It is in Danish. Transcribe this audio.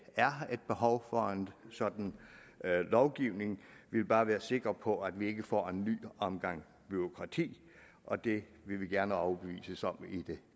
er et behov for en sådan lovgivning vi vil bare være sikre på at vi ikke får en ny omgang bureaukrati og det vil vi gerne overbevises om i det